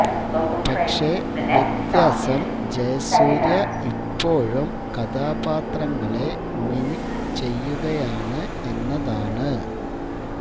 പക്ഷേ വ്യത്യാസം ജയസൂര്യ ഇപ്പോഴും കഥാപാത്രങ്ങളെ മിമിക് ചെയ്യുകയാണ് എന്നതാണ്